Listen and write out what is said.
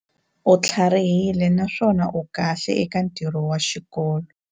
U tlharihile naswona u kahle eka ntirho wa xikolo.